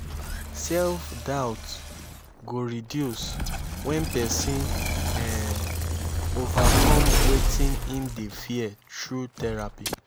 self-doubt go reduce wen pesin um overcom wetin im dey fear thru therapy